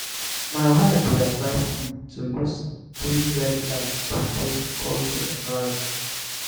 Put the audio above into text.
my wife dey advise me to use dim red light to create cozy atmosphere.